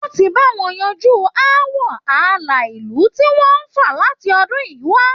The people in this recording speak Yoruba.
Wọ́n ti ń bá wọn yanjú ọ̀rọ̀ aáwọ̀ ààlà ìlú tí wọn ń fà láti ọdún yìí wá